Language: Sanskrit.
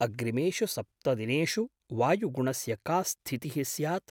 अग्रिमेषु सप्तदिनेषु वायुगुणस्य का स्थितिः स्यात्?